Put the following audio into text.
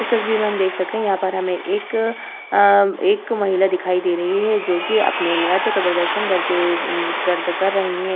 इस तस्वीर में हम देख सकते है यहाँ पर हमे एक अ एक महिला दिखाई दे रही है जो की अपने नृत्य का प्रदर्शन करके कर रही है ।